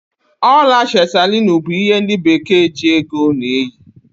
Ọla chetalinu bụ ihe ndị Bekee ji ego a na-eyi.